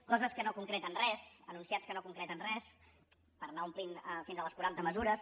coses que no concreten res enunciats que no concreten res per anar omplint fins a les quaranta mesures